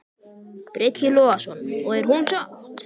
Breki Logason: Og er hún sátt?